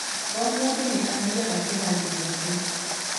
O mũndũ nĩ aathiaga kĩrathi gĩake.